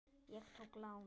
Ég tók lán.